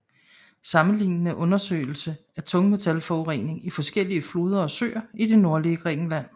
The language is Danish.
Sammenlignende undersøgelse af tungmetallforurening i forskellige floder og søer i det nordlige Grækenland